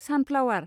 sunflower